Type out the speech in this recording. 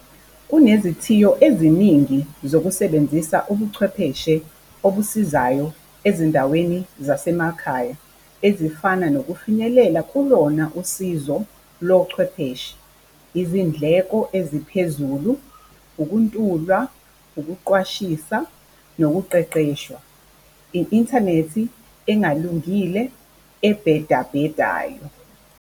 Kunezithiyo eziningi zokusebenzisa ubuchwepheshe obusizayo ezindaweni zasemakhaya ezifana nokufinyelela kulona usizo lo chwepheshe. Izindleko eziphezulu, ukuntula, ukuqwashisa nokuqeqeshwa. I-inthanethi engalungile, ebhedabhedayo.